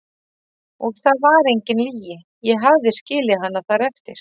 Og það var engin lygi, ég hafði skilið hana þar eftir.